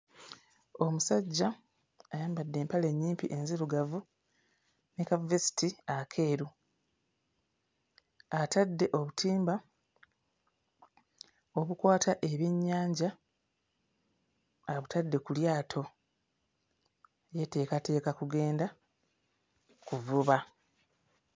Omusajja ayambadde empale ennyimpi enzirugavu ne ka vesiti akeeru, atadde obutimba obukwata ebyennyanja abutadde ku lyato yeeteekateeka kugenda kuvuba.